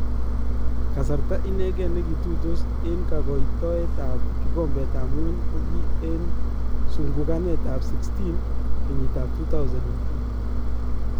Kasarta inekee nekituitos en kakaitoetab kikombeetab ngwony koki en sunkukaneetab 16 kenyiitab 2002